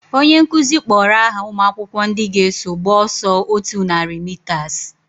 Onye nkụzi kpọrọ aha umuakwukwo ndị ga eso gba ọsọ otú nari mitas